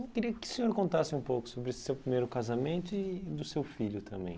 Eu queria que o senhor contasse um pouco sobre o seu primeiro casamento e do seu filho também.